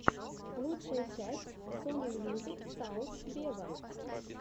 лучшая часть сони мьюзик саус вево